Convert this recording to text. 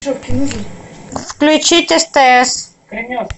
включить стс